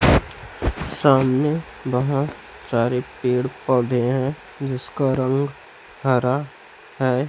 सामने बहुत सारे पेड़ पौधे हैं जिसका रंग हरा है।